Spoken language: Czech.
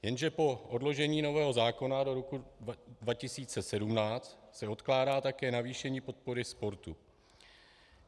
Jenže po odložení nového zákona do roku 2017 se odkládá také navýšení podpory sportu.